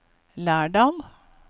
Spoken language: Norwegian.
Lærdal